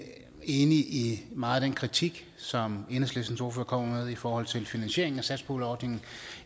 enig i meget af den kritik som enhedslistens ordfører kom med i forhold til finansieringen af satspuljeordningen